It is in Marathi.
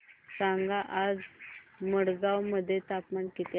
सांगा आज मडगाव मध्ये तापमान किती आहे